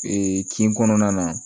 kin kɔnɔna na